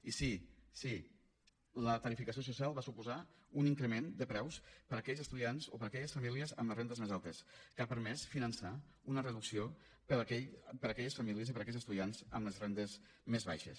i sí sí la tarifació social va suposar un increment de preus per a aquells estudiants o per a aquelles famílies amb les rendes més altes que ha permès finançar una reducció per a aquelles famílies i per a aquells estudiants amb les rendes més baixes